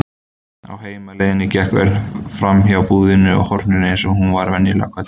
Á heimleiðinni gekk Örn framhjá búðinni á horninu eins og hún var venjulega kölluð.